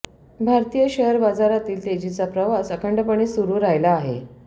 भारतीय शेअर बाजारातील तेजीचा प्रवास अखंडपणे सुरु राहिला आहे